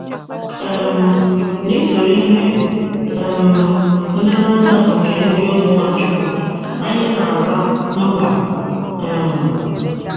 um N’ịsoro ihe um nlereanya nke ndiozi Nwachukwu, anyị na - aza mba um